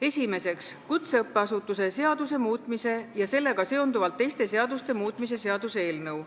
Esimeseks, kutseõppeasutuse seaduse muutmise ja sellega seonduvalt teiste seaduste muutmise seaduse eelnõu.